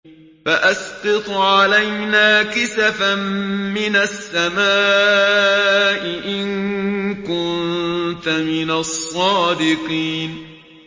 فَأَسْقِطْ عَلَيْنَا كِسَفًا مِّنَ السَّمَاءِ إِن كُنتَ مِنَ الصَّادِقِينَ